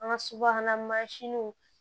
An ka soba mansinw